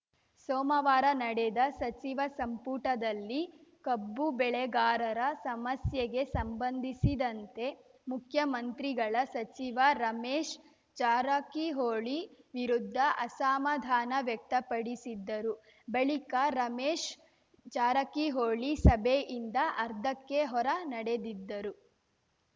ಸೋಮವಾರ ನಡೆದ ಸಚಿವ ಸಂಪುಟದಲ್ಲಿ ಕಬ್ಬು ಬೆಳೆಗಾರರ ಸಮಸ್ಯೆಗೆ ಸಂಬಂಧಿಸಿದಂತೆ ಮುಖ್ಯಮಂತ್ರಿಗಳ ಸಚಿವ ರಮೇಶ್‌ ಜಾರಕಿಹೊಳಿ ವಿರುದ್ಧ ಅಸಮಾಧಾನ ವ್ಯಕ್ತಪಡಿಸಿದ್ದರು ಬಳಿಕ ರಮೇಶ್‌ ಜಾರಕಿಹೊಳಿ ಸಭೆಯಿಂದ ಅರ್ಧಕ್ಕೆ ಹೊರ ನಡೆದಿದ್ದರು